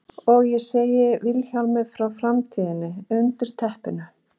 Og ég segi Vilhjálmi frá framtíðinni undir teppinu.